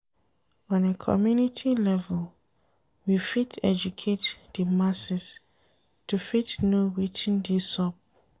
On a community level, we fit educate di masses to fit know wetin dey sup